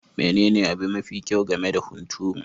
Menene abu me kyau game da hunturu?